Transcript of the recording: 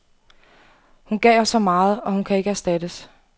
Hun gav os så meget, og hun kan ikke erstattes.